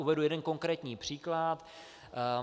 Uvedu jeden konkrétní příklad.